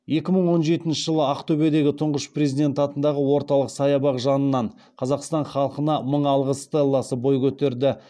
екі мың он жетінші жылы ақтөбедегі тұңғыш президент атындағы орталық саябақ жанынан қазақстан халқына мың алғыс стелласы бой көтерді